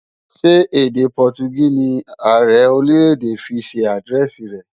Ṣé èdè Pọtugí ni Ààrẹ Orílè-èdè fi ṣe àdírẹ́ẹ̀sì rẹ̀?